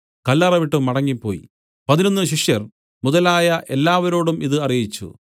കല്ലറ വിട്ടു മടങ്ങിപ്പോയി പതിനൊന്നു ശിഷ്യർ മുതലായ എല്ലാവരോടും ഇതു ഒക്കെയും അറിയിച്ചു